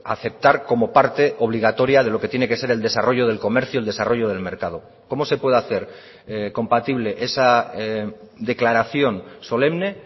aceptar como parte obligatoria de lo que tiene que ser el desarrollo del comercio el desarrollo del mercado cómo se puede hacer compatible esa declaración solemne